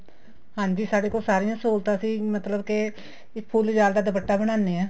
ਹਾਂਜੀ ਸਾਡੇ ਕੋਲ ਸਾਰੀਆਂ ਸਹੂਲਤਾ ਸੀ ਮਤਲਬ ਕੇ ਇੱਕ ਫੁੱਲ ਜਾਲ ਦਾ ਦੁਪੱਟਾ ਬਣਾਨੇ ਹਾਂ